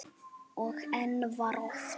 Og enn var ort.